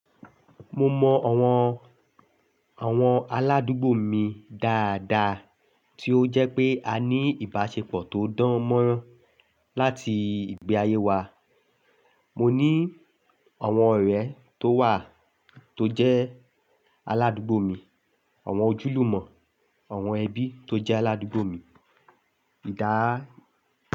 Mo mọ àwọn, àwọn aládùúgbò mi dáadáa tí ó jẹ́ pé a ní ìbáṣepọ̀ tó dán mọ́rán láti ìgbé ayé wa. Mo ní àwọn ọ̀rẹ́ tó wà tó jẹ́ aládùúgbò mi, àwọn ojúlùmọ̀, àwọn ẹbí tó jẹ́ aládùúgbò mi. Ìdá.